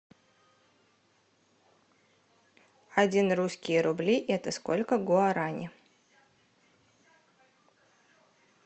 один русские рубли это сколько гуарани